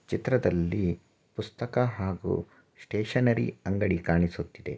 ಚಿತ್ರದಲ್ಲಿ ಪುಸ್ತಕ ಹಾಗೂ ಸ್ಟೇಷನರಿ ಅಂಗಡಿ ಕಾಣಿಸುತ್ತಿದೆ.